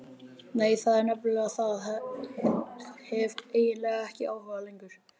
Nei, það er nefnilega það, hef hreinlega ekki áhuga lengur.